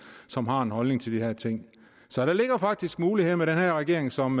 som har en holdning til de her ting så der ligger faktisk muligheder med den her regering som